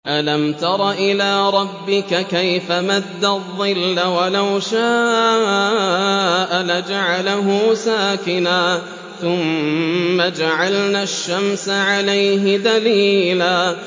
أَلَمْ تَرَ إِلَىٰ رَبِّكَ كَيْفَ مَدَّ الظِّلَّ وَلَوْ شَاءَ لَجَعَلَهُ سَاكِنًا ثُمَّ جَعَلْنَا الشَّمْسَ عَلَيْهِ دَلِيلًا